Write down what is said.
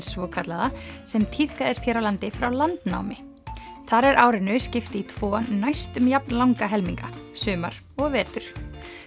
svokallaða sem tíðkaðist hér á landi frá landnámi þar er árinu skipt í tvo næstum jafn langa helminga sumar og vetur